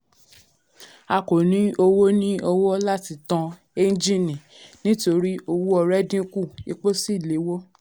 a kò ní owó ní owó láti tan ẹ́ńjìnnì nítorí owó ọrẹ dínkù epo sì léwó.